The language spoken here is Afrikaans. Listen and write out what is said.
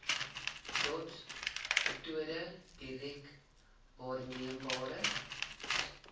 dotsmetode direk waarneembare